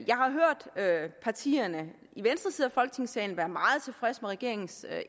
jeg har hørt partierne i venstre side af folketingssalen være meget tilfredse med regeringens